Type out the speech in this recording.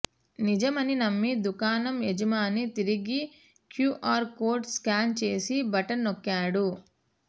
నిజమని నమ్మి దుకాణం యజమాని తిరిగి క్యూఆర్ కోడ్ స్కాన్ చేసి బటన్ నొక్కాడు